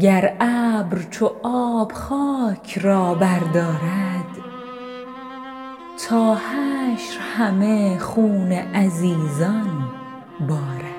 گر ابر چو آب خاک را بردارد تا حشر همه خون عزیزان بارد